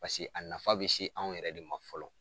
a nafa be se anw yɛrɛ de ma fɔlɔ.